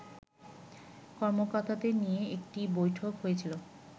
কর্মকর্তাদের নিয়ে একটি বৈঠক হয়েছে